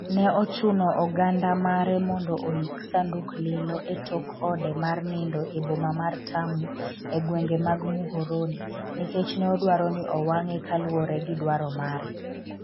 ne ochuno oganda mare mondo oik sanduk lilo e tok ode mar nindo e boma mar Tamu,e gwenge mag Muhoroni nikech ne odwaro ni owang'e kaluwore gi dwaro mare